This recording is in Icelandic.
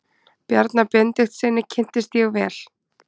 Bjarna Benediktssyni kynntist ég vel.